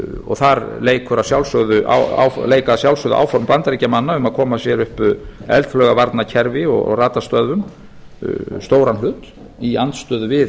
og þar leika að sjálfsögðu áform bandaríkjamanna um að koma sér upp eldflaugavarnarkerfi og radarstöðvum stóran hlut í andstöðu við